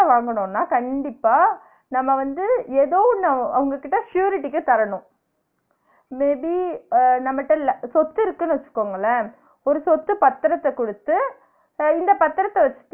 வாங்கனுன்னா கண்டிப்பா நம்ம வந்து ஏதோ ஒன்னு அவுங்ககிட்ட surety க்கு தரனும் may be அஹ் நம்மட்ட இல்ல சொத்து இருக்குன்னு வச்சுகோங்களே ஒரு சொத்து பத்திரத்த குடுத்து இந்த பத்திரத்த வச்